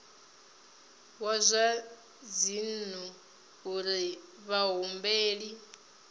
wa zwa dzinnu uri vhahumbeli